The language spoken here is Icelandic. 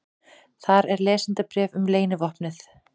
Þar er lesendabréf um leynivopnið.